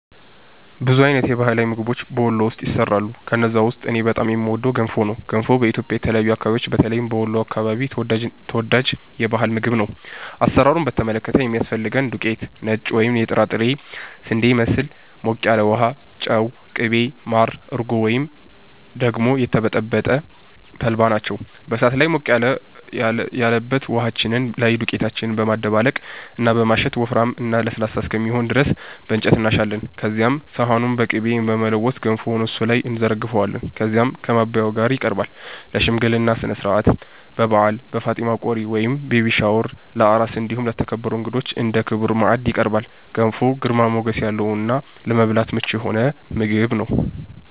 ብዙ አይነት የባህላዊ ምግቦች በ ወሎ ውስጥ ይሰራሉ። ከነዛ ውስጥ እኔ በጣም የምወደው ገንፎ ነው። ገንፎ በኢትዮጵያ የተለያዩ አከባቢዎች በተለይም በ ወሎ አከባቢ ተወዳጅ የ ባህል ምግብ ነው። አሰራሩን በተመለከተ የሚያስፈልገን ዱቄት(ነጭ ወይም የጥራጥሬ ስንዴን ይመስል)፣ ሞቅ ያለ ውሃ፣ ጨው፣ ቅቤ፣ ማር፣ እርጎ ወይም ደግሞ የተበጠበጠ ተልባ ናቸው። በ እሳት ላይ ሞቅ ያለበት ውሃችን ላይ ዱቄታችንን በማደባለቅ እና በማሸት ወፍራም እና ለስላሳ እስከሚሆን ድረስ በ እንጨት እናሻለን። ከዚያም ሰሃኑን በ ቅቤ በመለወስ ገንፎውን እሱ ላይ እንዘረግፈዋለን። ከዚያም ከ ማባያው ጋ ይቀርባል። ለ ሽምግልና ስነስርዓት፣ በ በዓል፣ በ ፋጢማ ቆሪ(ቤቢ ሻወር) ፣ለ አራስ እንዲሁም ለተከበሩ እንግዳዎች እንደ ክቡር ማዕድ ይቀርባል። ገንፎ ግርማ ሞገስ ያለው እና ለመብላት ምቹ የሆነ ምግብ ነው።